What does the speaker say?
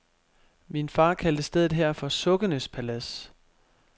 Min far kaldte stedet her for sukkenes palads.